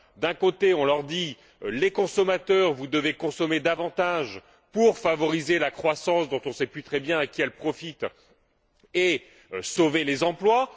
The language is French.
D'un côté, on leur dit Vous, consommateurs, vous devez consommer davantage pour favoriser la croissance, dont on ne sait plus très bien à qui elle profite, et sauver les emplois.